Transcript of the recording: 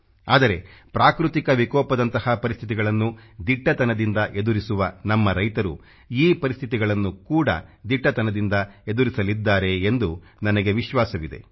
ಆದರೆ ಪ್ರಾಕೃತಿಕ ವಿಕೋಪದಂತಹ ಪರಿಸ್ಥಿತಿಗಳನ್ನು ದಿಟ್ಟತನದಿಂದ ಎದುರಿಸುವ ನಮ್ಮ ರೈತರು ಈ ಪರಿಸ್ಥತಿಗಳನ್ನು ಕೂಡ ದಿಟ್ಟತನದಿಂದ ಎದುರಿಸಲಿದ್ದಾರೆ ಎಂದು ನನಗೆ ವಿಶ್ವಾಸವಿದೆ